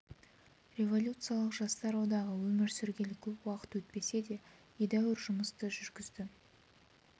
революциялық жастар одағы өмір сүргелі көп уақыт өтпесе де едәуір жұмыс жүргізді